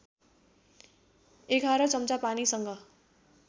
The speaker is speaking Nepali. ११ चम्चा पानीसँग